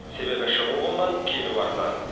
себебі шығу қымбат келу арзан